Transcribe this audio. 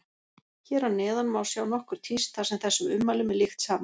Hér að neðan má sjá nokkur tíst þar sem þessum ummælum er líkt saman.